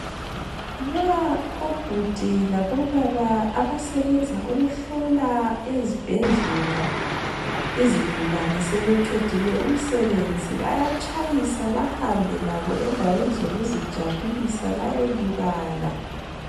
Nxa obhudi labo baba abasebenza ukuhlola ezibhedlela izigulane sebeqedile umsebenzi bayatshayisa bahambe labo endaweni zokuzijabulisa bayelibala.